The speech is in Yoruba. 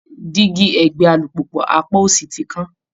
Dígí ẹ̀gbẹ́ alùpùpù apá òsì ti kán